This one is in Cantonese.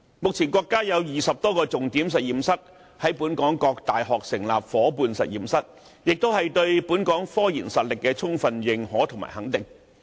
目前，國家有20多個重點實驗室，在本港各大學成立了夥伴實驗室，這是對本港科研實力的充分認可及肯定。